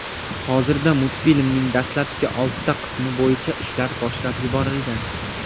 Hozirda multfilmning dastlabki oltita qismi bo‘yicha ishlar boshlab yuborilgan.